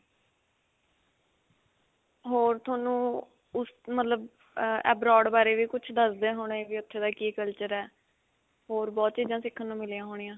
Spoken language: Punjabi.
ਹੋਰ ਤੁਹਾਨੂੰ, ਉਸ, ਮਤਲਬ ਏਏ abroad ਬਾਰੇ ਵੀ ਕੁਝ ਦਸਦੇ ਹੋਣੇ ਕਿ ਉਥੇ ਦਾ ਕੀ culture ਹੈ, ਹੋਰ ਬਹੁਤ ਚੀਜ਼ਾਂ ਸਿੱਖਣ ਨੂੰ ਮਿਲਿਆ ਹੋਣੀਆਂ .